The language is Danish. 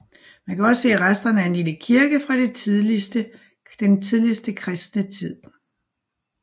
Man kan også se resterne af en lille kirke fra den tidligste kristne tid